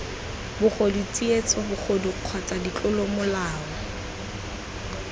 bogodu tsietso bobodu kgotsa ditlolomolao